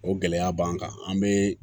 O gɛlɛya b'an kan an be